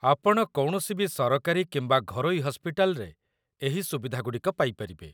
ଆପଣ କୌଣସିବି ସରକାରୀ କିମ୍ବା ଘରୋଇ ହସ୍ପିଟାଲରେ ଏହି ସୁବିଧାଗୁଡ଼ିକ ପାଇପାରିବେ